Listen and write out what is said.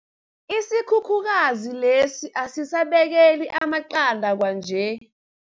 Isikhukhukazi lesi asisabekeli amaqanda kwanje.